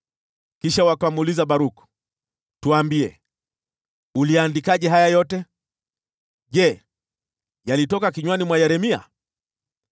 Kisha wakamuuliza Baruku, “Tuambie, uliandikaje haya yote? Je, yalitoka kinywani mwa Yeremia?”